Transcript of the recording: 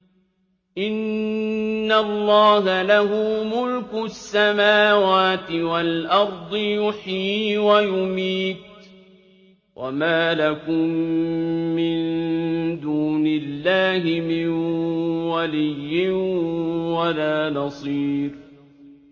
إِنَّ اللَّهَ لَهُ مُلْكُ السَّمَاوَاتِ وَالْأَرْضِ ۖ يُحْيِي وَيُمِيتُ ۚ وَمَا لَكُم مِّن دُونِ اللَّهِ مِن وَلِيٍّ وَلَا نَصِيرٍ